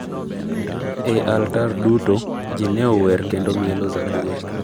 e altar duto, ji ne ower kendo mielo zaburi.